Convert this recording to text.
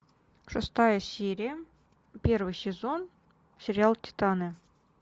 шестая серия первый сезон сериал титаны